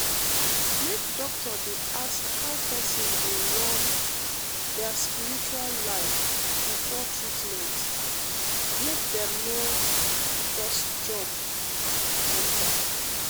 make doctor dey ask how person dey run um their spiritual life before treatment — make dem no um just jump um enter.